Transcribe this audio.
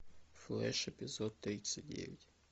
флеш эпизод тридцать девять